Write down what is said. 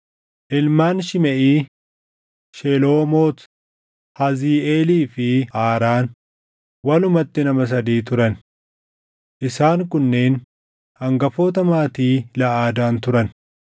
Ilmaan Shimeʼii: Sheloomot, Haziiʼeelii fi Haaraan; walumatti nama sadii turan. Isaan kunneen hangafoota Maatii Laʼadaan turan.